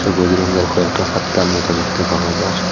এ বজরঙ্গের খয়েকটা পাত্তার মতো দ্যাখাতে পাওয়া যার ।